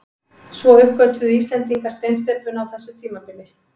Svo uppgötvuðu Íslendingar steinsteypuna á þessu tímabili.